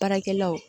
Baarakɛlaw